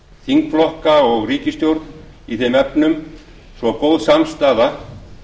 þingflokka og ríkisstjórn í þeim efnum svo að góð samstaða